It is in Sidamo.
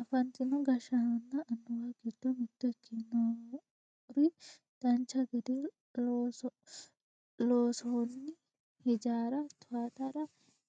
afantino gashshaanonna annuwu gdiio mitto ikkinori dancha gede loonsoonni hijaara towaatara